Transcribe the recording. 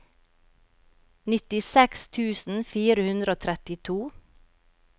nittiseks tusen fire hundre og trettito